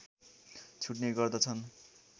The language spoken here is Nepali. छुट्ने गर्दछन्